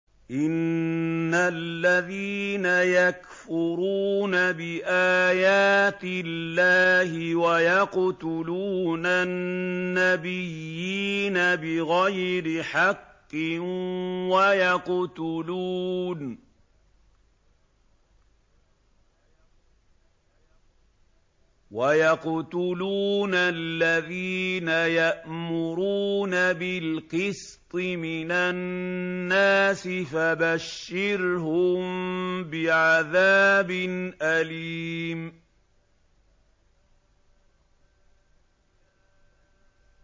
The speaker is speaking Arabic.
إِنَّ الَّذِينَ يَكْفُرُونَ بِآيَاتِ اللَّهِ وَيَقْتُلُونَ النَّبِيِّينَ بِغَيْرِ حَقٍّ وَيَقْتُلُونَ الَّذِينَ يَأْمُرُونَ بِالْقِسْطِ مِنَ النَّاسِ فَبَشِّرْهُم بِعَذَابٍ أَلِيمٍ